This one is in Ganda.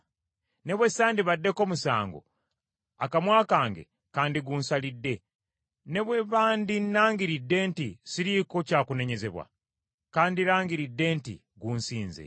Ne bwe sandibaddeko musango, akamwa kange kandigunsalidde. Ne bwe bandinnangiridde nti siriiko kyakunenyezebwa, kandirangiridde nti gunsinze.